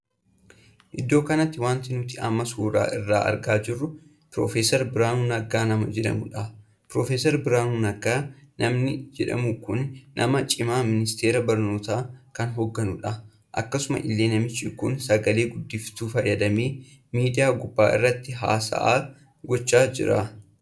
Iddoo kanatti wanti nuti amma suuraa isaa argaa jirru piroofeser Biraanuu Naggaa nama jedhamuudha. piroofeser Biraanuu Naggaa namni jedhamu kun nama cimaa ministeera barnootaa kan hoggaanudha. akkasuma illee namichi kun sagalee guddistuu fayyadamee miidiyaa gubbaa irratti haasaa gochaa jira.